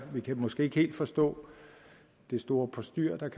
vi kan måske ikke helt forstå det store postyr der